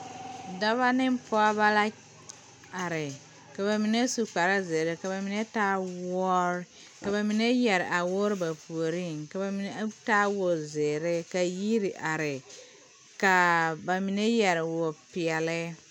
Dɔba ne pɔgeba la are ka ba mine su kparezeere ka ba mine taa woore ka ba mine yɛre a woore ba puoriŋ ka ba mine taa wozeere ka yiri are ka ba mine yɛre wopeɛle.